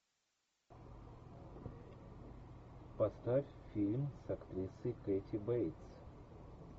поставь фильм с актрисой кэти бейтс